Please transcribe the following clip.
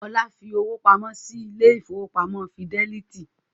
Olá fi owó pamọ́ sí ilé ìfowópamọ́ Fídẹ́lítì